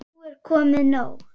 Nú er komið nóg!